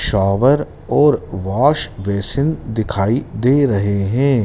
Shower और wash basin दिखाई दे रहे हैं।